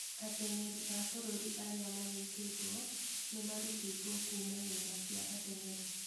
Atengeri a bũrũri arĩa manyitĩtwe nĩmarutĩtwe kũma nyũmba cia atengeri